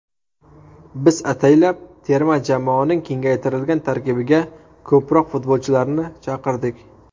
Biz ataylab terma jamoaning kengaytirilgan tarkibiga ko‘proq futbolchilarni chaqirdik.